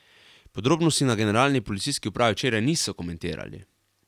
Podrobnosti na generalni policijski upravi včeraj niso komentirali.